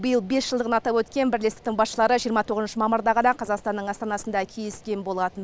биыл бес жылдығын атап өткен бірлестіктің басшылары жиырма тоғызыншы мамырда ғана қазақстанның астанасында кездескен болатын